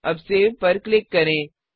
अब Saveसेव पर क्लिक करें